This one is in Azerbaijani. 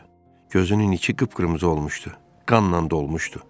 Gözünün içi qıpqırmızı olmuşdu, qanla dolmuşdu.